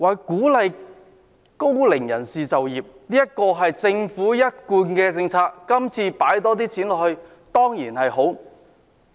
鼓勵高齡人士就業是政府一貫的政策，預算案投放更多資源在這方面，這當然好。